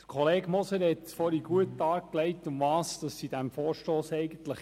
Kollege Moser hat vorhin gut dargelegt, worum es in diesem Vorstoss geht: